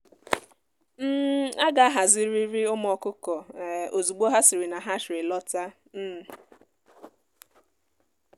um a ga ahazirịrị ụmụ ọkụkọ um ozugbo ha siri na hatchery lọta um